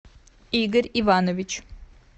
игорь иванович